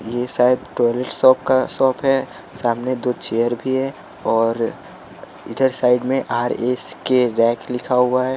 ये शायद toilet shop का शॉप है सामने दो चेयर भी है और इधर साइड में आरएसके रैक लिखा हुआ है।